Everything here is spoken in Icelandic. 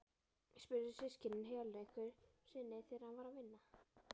spurðu systkinin Helenu einhverju sinni þegar hann var að vinna.